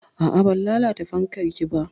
A'a, ban lalata fankar ki ba.